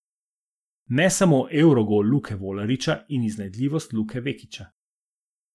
Ne samo evrogol Luke Volariča in iznajdljivost Luke Vekića.